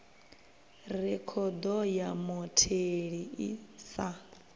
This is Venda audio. rekhodo ya mutheli i sa